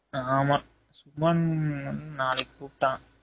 ஆமா சுமன் நாளைக்கு கூப்டான்